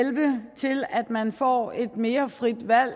man får et mere frit valg